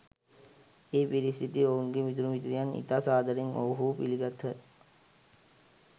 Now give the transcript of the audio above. එහි පිරී සිටි ඔවුන්ගේ මිතුරු මිතුරියන් ඉතා සාදරයෙන් ඔවුහු පිළිගත්හ.